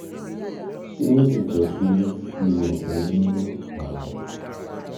ṣé ó lè jẹ́ pé ihò eyín ló fà á?